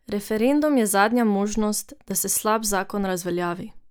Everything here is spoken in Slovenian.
Referendum je zadnja možnost, da se slab zakon razveljavi.